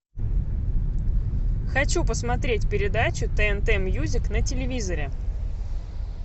хочу посмотреть передачу тнт мьюзик на телевизоре